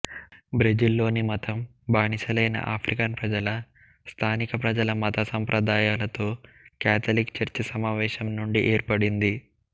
బ్రెజిల్లోని మతం బానిసలైన ఆఫ్రికన్ ప్రజల స్థానిక ప్రజల మత సంప్రదాయాలతో కాథలిక్ చర్చ్ సమావేశం నుండి ఏర్పడింది